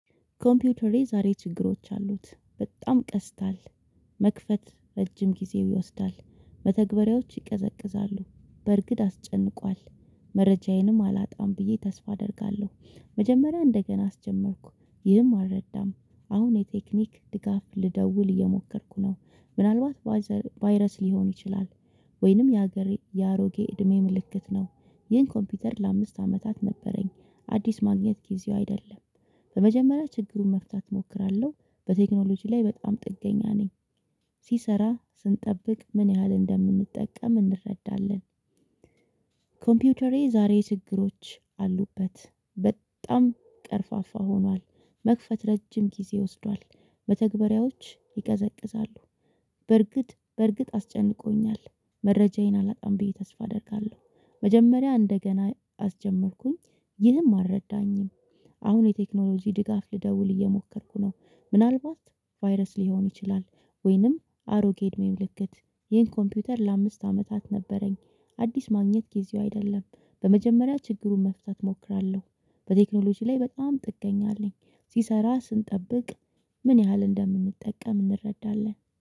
ኮምፒውተሬ ዛሬ ችግሮች አሉት በጣም ቀስታል መክፈት ረጅም ጊዜው ይወስዳል መተግበሪያዎች ይቀዘቅዛሉ በርግድ አስጨንቋል። መረጃዬንም አላጣም ብዬ ተስፋ አደርጋለሁ። መጀመሪያ እንደገና አስጀመርኩ ይህም አልረዳም። አሁን የቴክኒክ ድጋፍ ልደውል እየሞከርኩ ነው። ምናልባት ቫይረስ ሊሆን ይችላል። ወይንም የሀገሬ የአሮጌ እድሜ ምልክት ነው። ይህን ኮምፒውተር ለአምስት አመታት ነበረኝ። አዲስ ማግኘት ጊዜው አይደለም። በመጀመሪያ ችግሩን መፍታት እሞክራለሁ። በቴክኖሎጂ ላይ በጣም ጥገኛ ነኝ። ሲሰራ ስንጠብቅ ምን ያህል እንደምንጠቀም እንረዳለን። ኮምፒውተሬ ዛሬ ችግሮች አሉበት። በጣም ቀርፋፋ ሆኗል። መክፈት ረጅም ጊዜ ወስዷል በተግባራዎች ይቀዘቅዛሉ። በርግጥ በርግጥ አስጨንቆኛል። መረጃዬን አላጣም ብዬ ተስፋ አደርጋለሁ። መጀመሪያ እንደገና አስጀመርኩኝ። ይህም አልረዳኝም። አሁን የቴክኖሎጂ ድጋፍ ልደውል እየሞከርኩ ነው። ምናልባት ቫይረስ ሊሆን ይችላል። ወይንም አሮጌ እድሜ ምልክት። ይህን ኮምፒውተር ለአምስት አመታት ነበረኝ። አዲስ ማግኘት ጊዜው አይደለም። በመጀመሪያ ችግሩን መፍታት እሞክራለሁ። በቴክኖሎጂ ላይ በጣም ጥገኛ አለኝ። ሲሰራ ስንጠብቅ ምን ያህል እንደምንጠቀም እንረዳለን